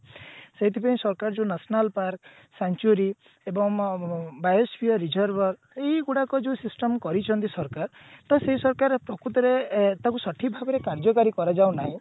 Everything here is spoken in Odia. ସେଇଥିପାଇଁ ସରକାର ଯୋଉ national park century ଏବଂ reserve ଏଇଗୁଡାକ ଯୋଉ system କରିଛନ୍ତି ସରକାର ତ ସେଇ ସରକାର ପ୍ରକୁତରେ ଅ ତାକୁ ସଠିକ ଭାବରେ କାର୍ଯ୍ୟକାରୀ କରାଯାଉ ନାଇଁ